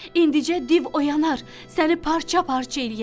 İndicə div oyanar, səni parça-parça eləyər.